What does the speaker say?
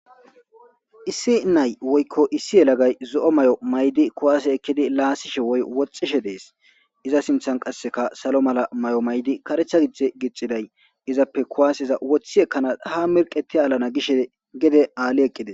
issi nay woykko issi yelagay zo7o may7o maydi kuwaase ekkidi laasishe woy woxxishe dees iza sinthan qasseka salo mala may7o maydi karecha gidde gixiday izappe kuwaaseza woththi ekkana ha merqeti alana gishe gede aalli eqqides